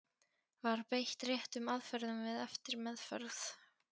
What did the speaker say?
Var beitt réttum aðferðum við eftirmeðferð?